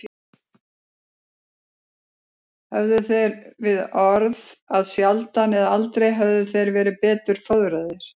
Höfðu þeir við orð að sjaldan eða aldrei hefðu þeir verið betur fóðraðir.